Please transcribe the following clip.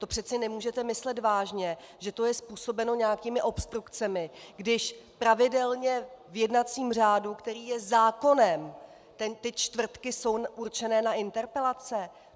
To přece nemůžete myslet vážně, že to je způsobeno nějakými obstrukcemi, když pravidelně v jednacím řádu, který je zákonem, ty čtvrtky jsou určené na interpelace.